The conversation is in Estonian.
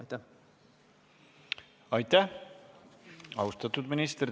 Aitäh, austatud minister!